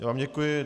Já vám děkuji.